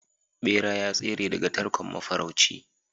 bera ya tsere daga tarkon mafarauci